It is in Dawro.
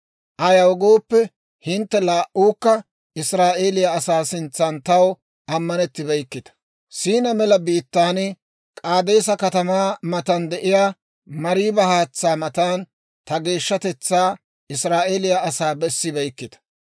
Ayaw gooppe, hintte laa"uukka Israa'eeliyaa asaa sintsan taw ammanettibeykkita; S'iina mela biittaan, K'aadeesa katamaa matan de'iyaa Mariiba haatsaa matan, ta geeshshatetsaa Israa'eeliyaa asaa bessibeykkita.